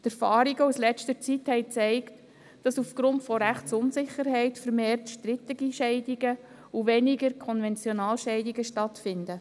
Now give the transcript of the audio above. Die Erfahrungen aus der letzten Zeit haben gezeigt, dass aufgrund von Rechtsunsicherheit vermehrt strittige Scheidungen und weniger Konventionalscheidungen stattfinden.